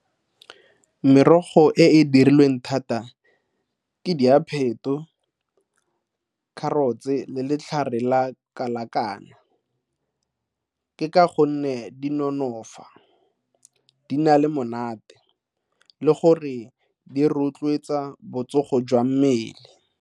Merogo e e dirilweng thata, ke diapheto, carrots-e le letlhare la kalakana. Ke ka gonne di nonofa, di na le monate le gore di rotloetsa botsogo jwa mmele.